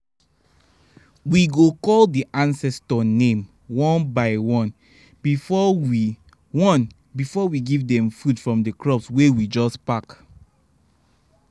um we go call the ancestor name one by one before we one before we give them food from the crops wey we just pack